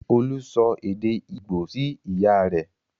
Olú sọ èdè Ìgbò sí ìyá rẹ̀.